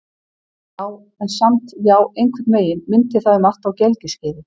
Já, en samt- já, einhvern veginn minnti það um margt á gelgjuskeiðið.